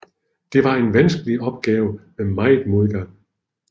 Det var en vanskelig opgave med meget modgang